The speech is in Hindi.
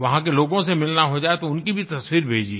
वहाँ के लोगों से मिलना हो जाये तो उनकी भी तस्वीर भेजिए